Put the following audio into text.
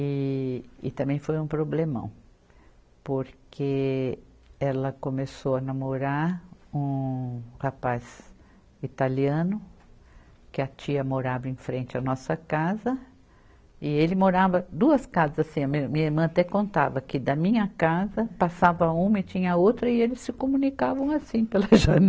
e, e também foi um problemão porque ela começou a namorar um rapaz italiano que a tia morava em frente à nossa casa e ele morava duas casas assim, a mim, minha irmã até contava que da minha casa passava uma e tinha outra e eles se comunicavam assim pela